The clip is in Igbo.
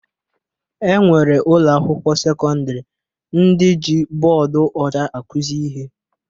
E nwere ụlọakwụkwọ sekọndịrị ndị ji bọọdụ ọcha akụzi ihe